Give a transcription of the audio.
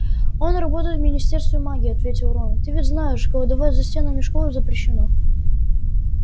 он работает в министерстве магии ответил рон ты ведь знаешь колдовать за стенами школы запрещено